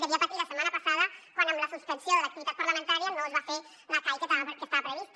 devia patir la setmana passada quan amb la suspensió de l’activitat parlamentària no es va fer la cai que estava prevista